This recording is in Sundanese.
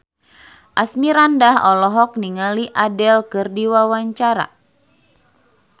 Asmirandah olohok ningali Adele keur diwawancara